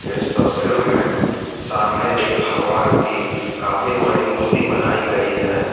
इस तस्वीर में सामने एक भगवान की काफी बड़ी मूर्ति बनाई गई है।